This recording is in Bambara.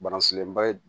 Bana sigilenba ye